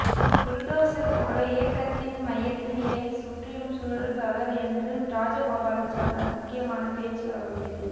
bulldozer போல இலக்கியத்தின் மையத்தில் இறங்கி சுற்றிலும் சுழல்பவர் என்று ராஜகோபாலன் சொன்னார் முக்கியமான பேச்சு அவருடையது